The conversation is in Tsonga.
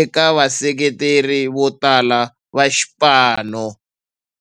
eka vaseketeri votala va xipano.